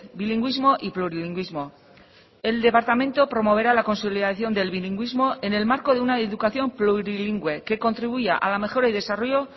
bilingüismo y plurilingüismo el departamento promoverá la consolidación del bilingüismo en el marco de una educación plurilingüe que contribuya a la mejora y desarrollo